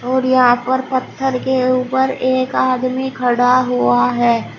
और यहाँ पर पत्थर के ऊपर एक आदमी खड़ा हुआ है।